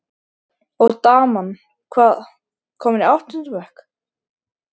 Og daman, hvað- komin í áttunda bekk?